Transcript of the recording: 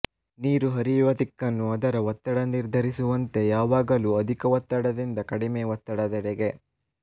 ನೀರು ಹರಿಯವ ದಿಕ್ಕನ್ನು ಅದರ ಒತ್ತಡ ನಿರ್ಧರಿಸುವಂತೆ ಯಾವಾಗಲೂ ಅಧಿಕ ಒತ್ತಡದಿಂದ ಕಡಿಮೆ ಒತ್ತಡದೆಡೆಗೆ